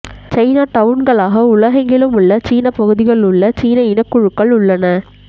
சைனாடவுன்களாக உலகெங்கிலும் உள்ள சீனப் பகுதிகள் உள்ள சீன இனக்குழுக்கள் உள்ளன